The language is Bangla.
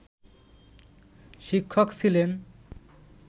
শিক্ষক ছিলেন